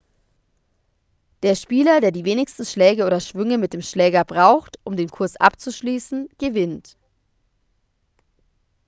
der spieler der die wenigsten schläge oder schwünge mit dem schläger braucht um den kurs abzuschließen gewinnt